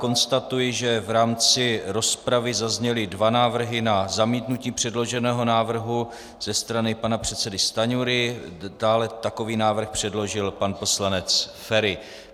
Konstatuji, že v rámci rozpravy zazněly dva návrhy na zamítnutí předloženého návrhu - ze strany pana předsedy Stanjury, dále takový návrh předložil pan poslanec Feri.